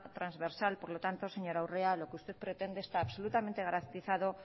transversal por lo tanto señora urrea lo que usted pretende está absolutamente garantizado